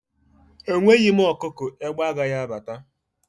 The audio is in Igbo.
Enweghị m ọkụkọ, egbe agaghi abata